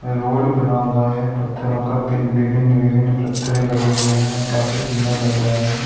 Road बना हुआ है पथ्थरों का भिन्न विभिन्न विभिन्न पथ्थरे लगे हुए है काफी सुन्दर लग रहा है।